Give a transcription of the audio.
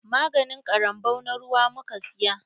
Maganin ƙarambau na ruwa muka siya.